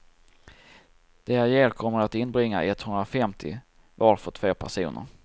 Det jag ger kommer att inbringa etthundrafemtio var för två personer.